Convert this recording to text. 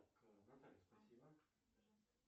джой баланс карты альфа банк